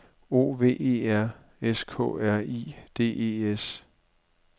O V E R S K R I D E S